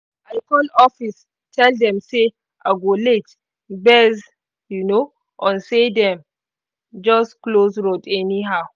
i call office tell them say i go late based um on say dem just close road anyhow